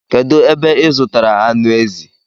Kedu ebe ị zụtara anụ ezi?